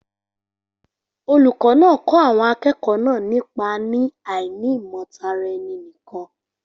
Olùkọ́ náà kọ́ àwọn akẹ́kọ̀ọ́ náà nípa ní àìnímọ̀ Tara-ẹni-nìkan